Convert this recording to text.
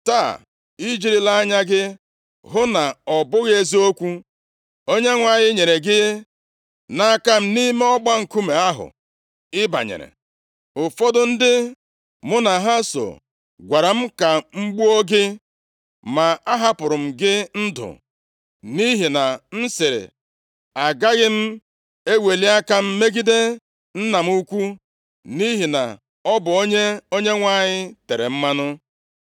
Taa, i jirila anya gị hụ na ọ bụghị eziokwu. Onyenwe anyị nyere gị nʼaka m nʼime ọgba nkume ahụ ị banyere, ụfọdụ ndị mụ na ha so gwara m ka m gbuo gị, ma ahapụrụ m gị ndụ nʼihi na m sịrị, ‘Agaghị m eweli aka m megide nna m ukwu nʼihi na ọ bụ onye Onyenwe anyị tere mmanụ.’